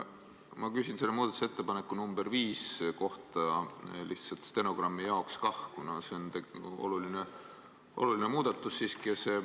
Ma küsin muudatusettepaneku nr 5 kohta, teen seda lihtsalt stenogrammi jaoks, kuna see on oluline muudatus.